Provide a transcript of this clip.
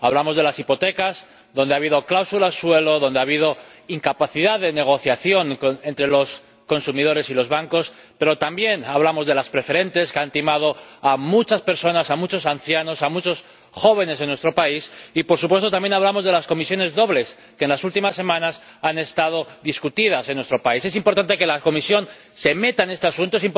Hablamos de las hipotecas, en las que ha habido cláusulas suelo, ha habido incapacidad de negociación entre los consumidores y los bancos, pero también hablamos de las preferentes, que han timado a muchas personas, a muchos ancianos, a muchos jóvenes en nuestro país y, por supuesto, también hablamos de las comisiones dobles, que en las últimas semanas han sido objeto de debate en nuestro país. Es importante que la Comisión intervenga en este asunto